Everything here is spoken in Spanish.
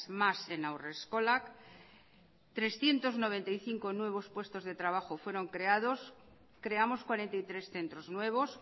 más en haurreskolak trescientos noventa y cinco nuevos puestos de trabajo fueron creados creamos cuarenta y tres centros nuevos